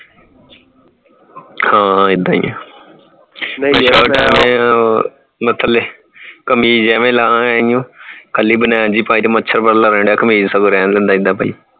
ਹਾਂ ਹਾਂ ਏਦਾਂ ਹੀ ਹੈ ਉਹ ਥਲੇ ਕਮੀਜ਼ ਕਮੀਜ਼ ਐਵੇਂ ਲਾ ਆਇਓ ਖਾਲੀ ਬਣਣ ਜੀ ਪਾਈ ਤੇ ਮੱਛਰ ਕਮੀਜ਼ ਦੇ ਸਗੋਂ ਰਹਿਣ ਦੇ ਏਦਾਂ ਪਾਈ